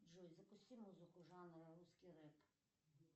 джой запусти музыку жанра русский реп